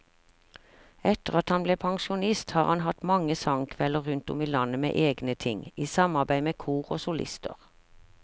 Etter at han ble pensjonist har han hatt mange sangkvelder rundt om i landet med egne ting, i samarbeid med kor og solister.